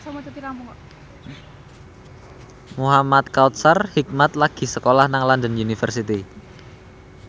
Muhamad Kautsar Hikmat lagi sekolah nang London University